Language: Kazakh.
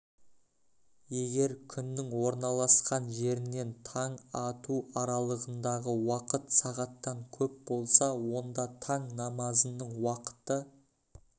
егер күннің орналасқан жерінен таң ату аралығындағы уақыт сағаттан көп болса онда таң намазының уақыты